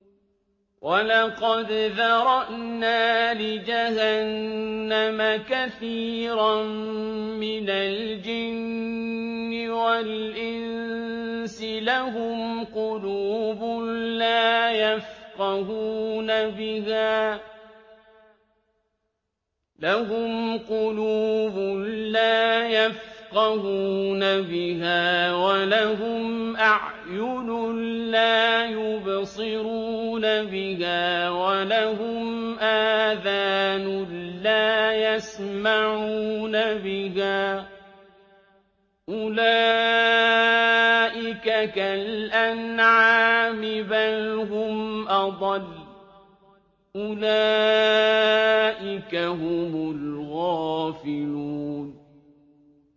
وَلَقَدْ ذَرَأْنَا لِجَهَنَّمَ كَثِيرًا مِّنَ الْجِنِّ وَالْإِنسِ ۖ لَهُمْ قُلُوبٌ لَّا يَفْقَهُونَ بِهَا وَلَهُمْ أَعْيُنٌ لَّا يُبْصِرُونَ بِهَا وَلَهُمْ آذَانٌ لَّا يَسْمَعُونَ بِهَا ۚ أُولَٰئِكَ كَالْأَنْعَامِ بَلْ هُمْ أَضَلُّ ۚ أُولَٰئِكَ هُمُ الْغَافِلُونَ